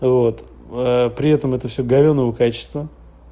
вот при этом это всё плохого качества